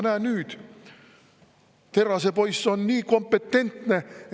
Aga näe, nüüd Terrase-poiss on nii kompetentne.